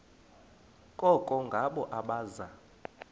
koko ngabo abaza